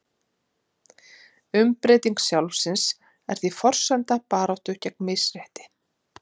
umbreyting sjálfsins er því forsenda í baráttu gegn misrétti